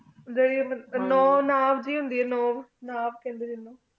ਜਾਰੀ ਨੂੰ ਨਫ਼ ਜੈ ਹੁੰਦੇ ਆਯ